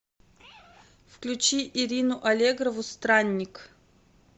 включи ирину аллегрову странник